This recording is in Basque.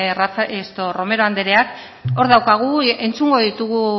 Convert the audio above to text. romero andreak hor daukagu entzungo ditugu